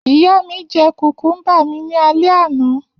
Iya mi jẹ kukumba mi ni alẹ ana.